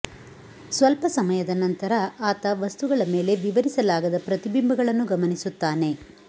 ಸ್ವಲ್ಪ ಸಮಯದ ನಂತರ ಆತ ವಸ್ತುಗಳ ಮೇಲೆ ವಿವರಿಸಲಾಗದ ಪ್ರತಿಬಿಂಬಗಳನ್ನು ಗಮನಿಸುತ್ತಾನೆ